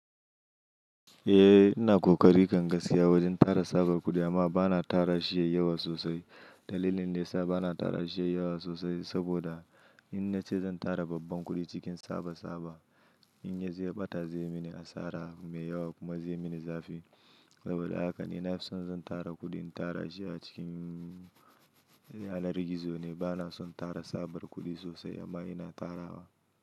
Ina ƙoƙari kan gaskiya wajen tara tsabar kuɗi amma bana tara shi da yawa sosai. Dalilin dayasa bana tara shi yayi yawa sosai saboda in na ce zan tara babban kuɗi cikin tsaba tsaba, in ya zo ɓata zai mini asara mai yawa kuma zai mini zafi. Saboda haka ina son zan tara kuɗin tara shi a cikin yanar gizo ne bana son tara tsabar kuɗi sosai amma ina tarawa.